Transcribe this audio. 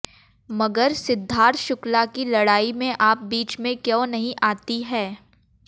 मगर सिद्धार्थ शुक्ला की लड़ाई में आप बीच में क्यों नहीं आती हैं